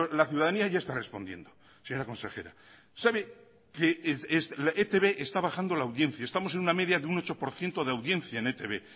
la ciudadanía ya está respondiendo señora consejera sabe que etb está bajando la audiencia estamos en una media de un ocho por ciento de audiencia en etb